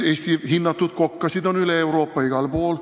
Eesti hinnatud kokkasid on igal pool üle Euroopa.